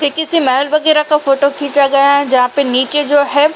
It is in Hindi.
ये किसी महल वगैरा का फोटो खींचा गया है। जहाँ पे (पर) नीचे जो है--